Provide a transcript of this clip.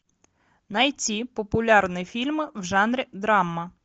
найти популярные фильмы в жанре драма